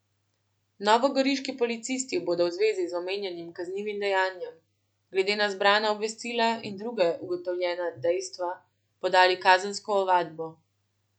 Novogoriški policisti bodo v zvezi z omenjenim kaznivim dejanjem glede na zbrana obvestila in druga ugotovljene dejstva podali kazensko ovadbo.